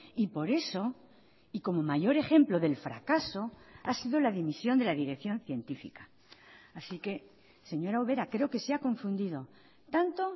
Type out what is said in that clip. y por eso y como mayor ejemplo del fracaso ha sido la dimisión de la dirección científica así que señora ubera creo que se ha confundido tanto